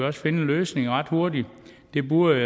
også finde en løsning ret hurtigt det burde